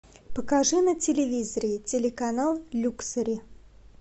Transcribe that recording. покажи на телевизоре телеканал люксори